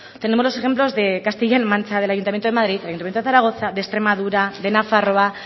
tenemos los ejemplos de castilla la mancha del ayuntamiento de madrid del ayuntamiento de zaragoza de extremadura de nafarroa